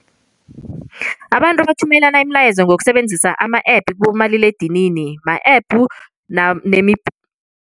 Abantu bathumelana imilayezo ngokusebenzisa ama-app kibomaliledinini ma-app nemi